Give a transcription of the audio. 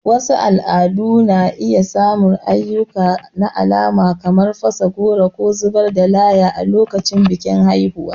Wasu al'adu na iya samun ayyuka na alama kamar fasa goro ko zubar da laya a lokacin bikin haihuwa.